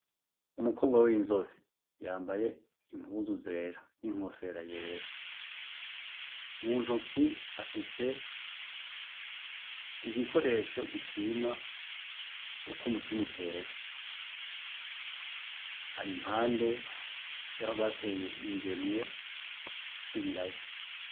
Umukobwa w' inzobe yambaye impuzu zera n'inkofera yera. Mu ntoke afise igikoresho gupima ukwo umutima utera. Ari impande y' aho bateye ingemwe z' ibiraya.